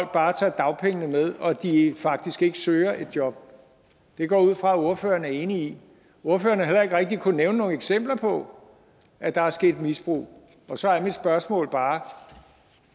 bare tager dagpengene med og at de faktisk ikke søger et job det går jeg ud fra ordføreren enig i ordføreren har heller ikke rigtig kunnet nævne nogen eksempler på at der er sket et misbrug og så er mit spørgsmål bare